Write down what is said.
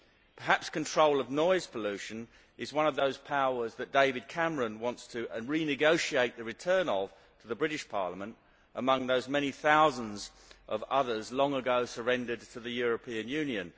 Perhaps control of noise pollution is one of those powers that David Cameron wants to renegotiate the return of to the British Parliament, among those many thousands of others long ago surrendered to the European Union.